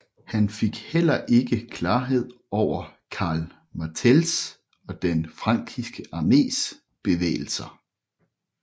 Han fik heller ikke klarhed over Karl Martells og den frankiske armés bevægelser